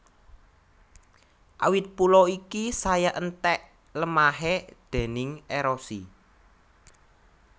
Awit pulo iki saya enthèk lemahé déning érosi